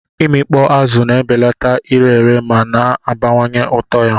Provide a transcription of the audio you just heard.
Imikpo azụ na-ebelata ire ere ma na-abawanye ụtọ ya.